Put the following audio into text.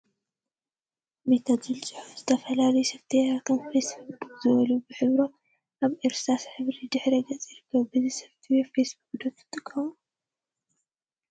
ሜታ ዝብል ፅሑፍን ዝተፈላለዩ ሶፍትዌራት ከም ፌስቡክ ዝበሉ በቢሕብሮም አብ እርሳስ ሕብሪ ድሕረ ገፅ ይርከቡ፡፡ በዚ ሶፍትዌር ፌስ ቡክ ዶ ትጥቀሙ?